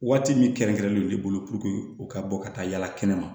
Waati min kɛrɛnkɛrɛnnen bolo u ka bɔ ka taa yala kɛnɛma